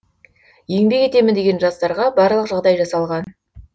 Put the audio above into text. еңбек етемін деген жастарға барлық жағдай жасалған